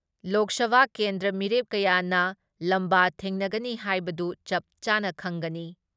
ꯂꯣꯛ ꯁꯚꯥ ꯀꯦꯟꯗ꯭ꯔ ꯃꯤꯔꯦꯞ ꯀꯌꯥꯅ ꯂꯝꯕꯥ ꯊꯦꯡꯅꯒꯅꯤ ꯍꯥꯏꯕꯗꯨ ꯆꯞ ꯆꯥꯅ ꯈꯪꯒꯅꯤ ꯫